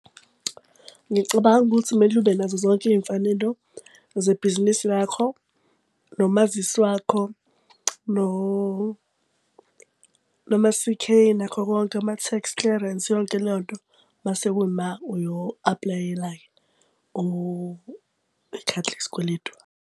Ngicabanga ukuthi kumele ube nazo zonke iy'mfanelo zebhizinisi lakho, nomazisi wakho, noma-C_K, nakho konke, ama-tax clearance, yonke leyo nto. Mase kuyima uyo-aplayela-ke ikhadi lesikweletu.